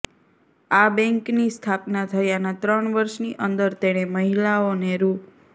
આ બેન્કની સ્થાપના થયાનાં ત્રણ વર્ષની અંદર તેણે મહિલાઓને રૂ